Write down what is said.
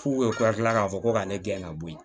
F'u ka kila k'a fɔ ko ka ne gɛn ka bɔ yen